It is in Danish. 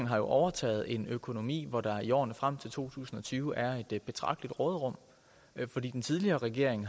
har overtaget en økonomi hvor der i årene frem til to tusind og tyve er et betragteligt råderum fordi den tidligere regering